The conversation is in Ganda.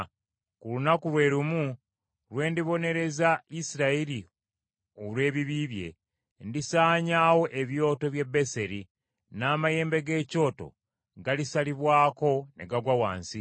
“Ku lunaku lwe lumu lwe ndibonereza Isirayiri olw’ebibi bye, ndisaanyaawo ebyoto by’e Beseri, n’amayembe g’ekyoto galisalibwako ne gagwa wansi.